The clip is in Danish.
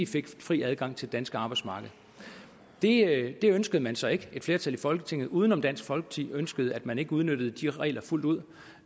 fik fri adgang til det danske arbejdsmarked det ønskede man så ikke et flertal i folketinget uden om dansk folkeparti ønskede at man ikke udnyttede de regler fuldt ud